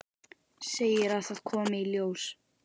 Segir að það komi í ljós.